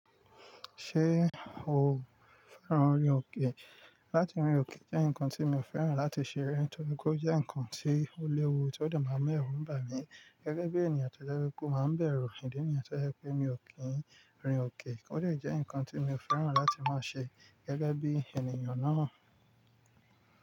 Ṣé o fẹ́ràn orin òkè? Láti rin òkè jẹ́ nǹkan tí mi ò fẹ́ràn láti ṣe rí, nítorí kó jẹ́ nǹkan tí ó léwu tí ó de maa mu ẹrù ń bà mí. Gẹ́gẹ́ bí ènìyàn tó jẹ́ pé o máa n bẹ̀rù, ìdí nìyẹn tó jẹ́ pé mi ò kí ń rìn òkè. Ó de je nǹkan tí mi ò fẹ́ràn láti máa ṣe gẹ́gẹ́ bí ènìyàn náà.